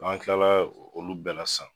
N'an kilala olu bɛɛ la sisan